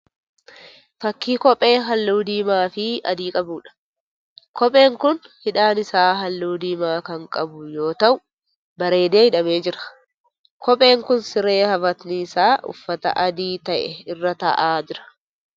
Fakkii kophee halluu diimaa fi adii qabuudha. Kopheen kun hidhaan isaa halluu diimaa kan qabu yoo ta'u bareedee hidhamee jira. Kopheen kun siree afatni isaa uffata adii ta'e irra ta'aa jira.